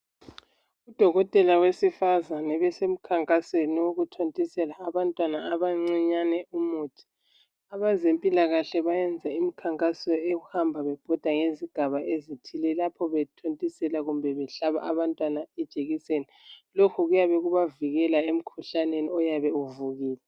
Udokotela wesifazana usemkhankasweni wokuthontisela abantwana abancane umuthi. Abezempilakahle benza imikhankaso yokuhamba bebhoda ngezigaba ezithile lapho bethontisela kumbe behlaba abantwana ijekiseni. Lokho kuyabe kubavikela emkhuhlaneni oyabe uvukile.